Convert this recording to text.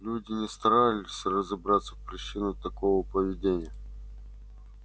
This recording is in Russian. люди не старались разобраться в причинах такого поведения